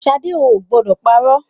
Ṣadé o ò gbọdọ̀ parọ́.